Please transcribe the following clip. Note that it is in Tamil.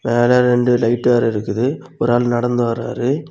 மேல ரெண்டு லைட் வேற இருக்குது ஒரு ஆள் நடந்து வராரு.